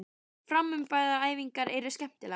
Framburðaræfingarnar eru skemmtilegar.